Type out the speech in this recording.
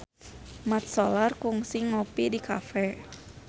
Mat Solar kungsi ngopi di cafe